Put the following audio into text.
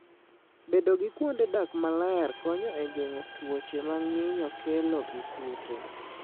Bedo gi kuonde dak maler konyo e geng'o tuoche ma nyinyo kelo gi kute.